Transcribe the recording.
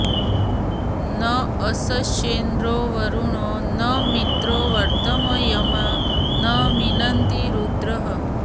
न यस्येन्द्रो वरुणो न मित्रो व्रतमर्यमा न मिनन्ति रुद्रः